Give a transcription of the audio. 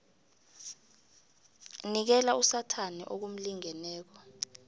nikela usathana okumlingeneko